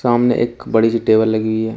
सामने एक बड़ी सी टेबल लगी हुई है।